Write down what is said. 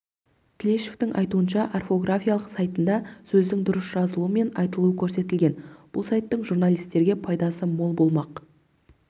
тілешовтың айтуынша орфографиялық сайтында сөздің дұрыс жазылуы мен айтылуы көрсетілген бұл сайттың журналистерге пайдасы мол болмақ